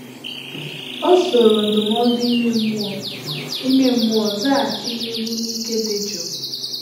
O soro ndụmọdụ ime mmụọ ime mmụọ zaghachi mmegbu n’ike dị jụụ